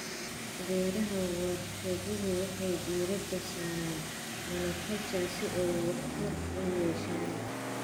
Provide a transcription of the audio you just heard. Beeraha warshaduhu waxay diiradda saaraan monoculture si ay waxtar u yeeshaan.